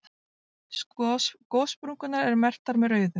Gossprungurnar eru merktar með rauðu.